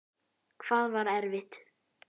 Hvað var erfitt?